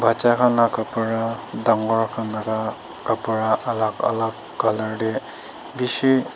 baccha kan laga kabra tangore kan laga kabra alak alak colour teh beshi.